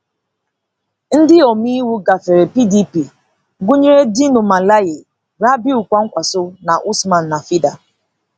Ndị omeiwu gafere PDP gụnyere Dino Melaye, Rabiu Kwankwaso na Usman Nafịda.